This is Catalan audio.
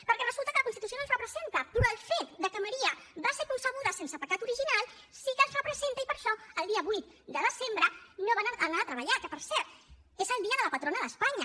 perquè resulta que la constitució no els representa però el fet que maria va ser concebuda sense pecat original sí que els representa i per això el dia vuit de desembre no van anar a treballar que per cert és el dia de la patrona d’espanya